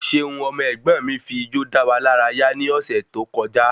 Ṣeun ọmọ ẹ̀gbọ́n mi fi ijó dáwà lára yá ni ọ̀sẹ̀ tó kọjá